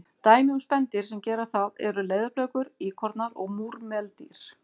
Dæmi um spendýr sem gera það eru leðurblökur, íkornar og múrmeldýr.